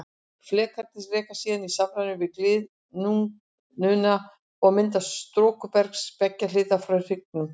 Flekarnir reka síðan í samræmi við gliðnunina og myndun storkubergs til beggja hliða frá hryggjunum.